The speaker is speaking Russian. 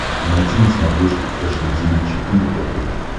найти на смотрешке фэшн ти ви четыре ка